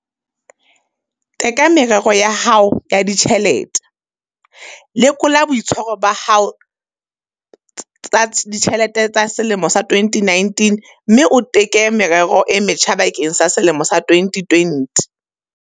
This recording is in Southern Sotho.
Teka merero ya hao ya ditjhelete - Lekola boitshwaro ba hao ho tsa ditjhelete ba selemo sa 2019 mme o teke merero e metjha bakeng sa selemo sa 2020.